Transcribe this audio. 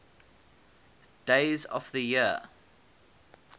days of the year